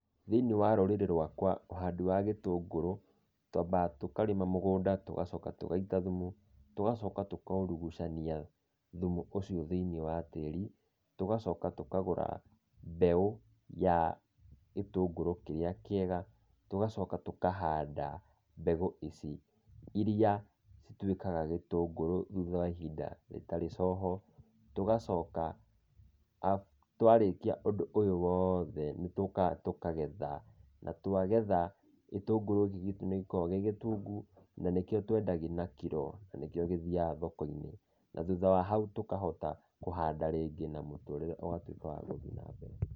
Thĩiniĩ wa rũrĩrĩ rwakwa ũhandi wa gĩtũngũrũ, twambaga tũkarĩma mũgũnda, tũgacoka tũgaita thumu, tũgacoka tũkaurugũcania thumu ũcio thĩiniĩ wa tĩri. Tũgacoka tũkagũra mbeũ ya gĩtũngũrũ kĩrĩa kĩega, tũgacoka tũkahanda mbegũ ici, iria cituĩkaga gĩtũngũrũ thutha wa ihinda rĩtarĩ coho. Tũgacoka twarĩkia ũndũ ũyũ woothe, nĩtũkaga tũkagetha, na twagetha, gĩtũngũrũ gĩkĩ gitũ nĩgĩkoragwo gĩ gĩtungu, na nĩkĩo twendagia na kiro, na nĩkĩo gĩthiaga thoko-inĩ. Na thutha wa hau tũkahota kũhanda rĩngĩ na mũtũrĩre ũgatuĩka wa gũthiĩ nambere.